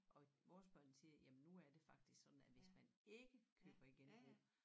Og vores børn siger jamen nu er det faktisk sådan at hvis man ikke køber i genbrug